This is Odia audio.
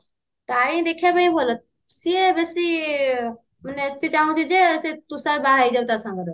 ତାରିଣୀ ଦେଖିବା ପାଇଁ ଭଲ ସିଏ ବେସୀ ମାନେ ସେ ଚାହୁଁଛି ଯେ ସେ ତୁଷାର ବାହା ହେଇଯାଉ ତା ସାଙ୍ଗରେ